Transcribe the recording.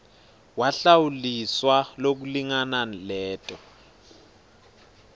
wahlawuliswa lokulingana leto